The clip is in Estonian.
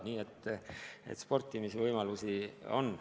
Nõnda et sportimisvõimalusi on.